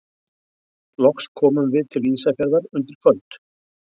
Loks komum við til Ísafjarðar undir kvöld.